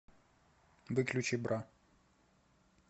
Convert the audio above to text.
выключи бра